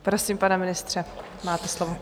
Prosím, pane ministře, máte slovo.